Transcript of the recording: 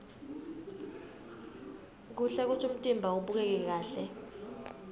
kuhle kutsi umtimba ubukeke kahle